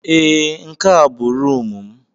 Ee, nke a bụ rumụ m.